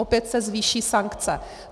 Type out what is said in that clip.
Opět se zvýší sankce.